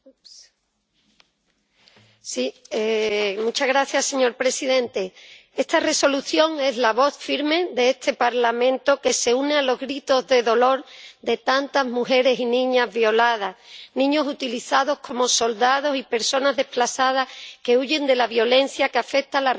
Señor presidente, esta Resolución es la voz firme de este Parlamento que se une a los gritos de dolor de tantas mujeres y niñas violadas, niños utilizados como soldados y personas desplazadas que huyen de la violencia que afecta a la República Democrática del Congo desde hace más de veinte años.